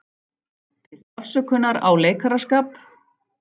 Biðst afsökunar á leikaraskap